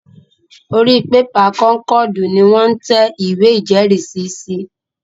Orí pépà kọ́nkọ̀dù ni wọ́n ń tẹ ìwé ìjẹ́rìísí sí